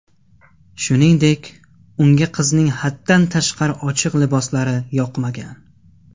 Shuningdek, unga qizning haddan tashqari ochiq liboslari yoqmagan.